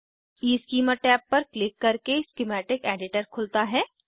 schema tab पर click करके schematic editor खुलता है